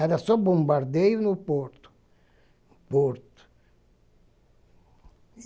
Era só bombardeio no porto, no porto.